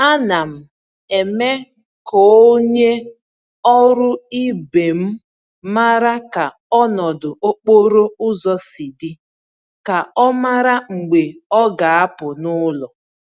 Ánám eme k'onye ọrụ ibe m màrà ka ọnọdụ okporo ụzọ si dị, ka ọ mara mgbe ọ ga-apụ n'ụlọ.